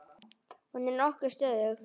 Hún er nokkuð stöðug.